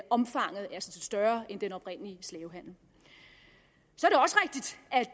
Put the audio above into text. omfanget er større end den oprindelige slavehandel så